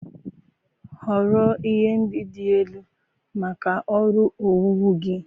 Họrọ ihe ndị dị elu maka ọrụ owuwu gị